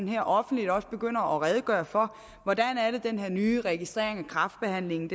her offentligt også begyndte at redegøre for hvordan den her nye registrering af kræftbehandlingen